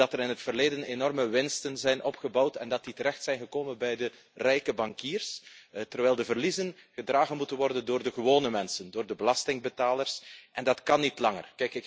Dat er in het verleden enorme winsten zijn opgebouwd en dat die terechtgekomen zijn bij de rijke bankiers, terwijl de verliezen gedragen moeten worden door de gewone mensen, door de belastingbetalers, en dat kan niet langer.